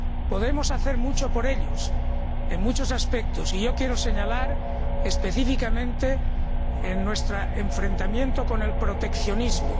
Podemos hacer mucho por ellos, en muchos aspectos, y quiero señalar específicamente nuestro enfrentamiento con el proteccionismo.